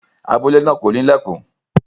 Abule naa ko ni ilẹkùn.